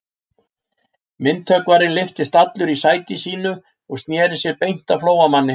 Myndhöggvarinn lyftist allur í sæti sínu og sneri sér beint að Flóamanni.